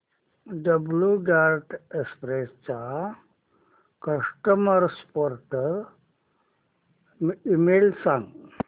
blue Dart Express चा customer support email सांग